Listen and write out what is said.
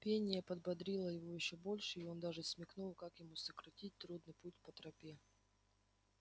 пение подбодрило его ещё больше и он даже смекнул как ему сократить трудный путь по тропе